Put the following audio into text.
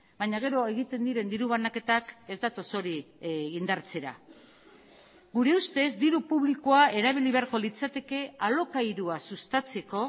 baina gero egiten diren diru banaketak ez datoz hori indartzera gure ustez diru publikoa erabili beharko litzateke alokairua sustatzeko